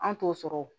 An t'o sɔrɔ o